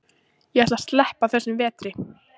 Ég ætla að sleppa þessum vetri.